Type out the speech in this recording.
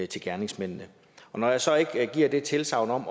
til gerningsmændene når jeg så ikke giver det tilsagn om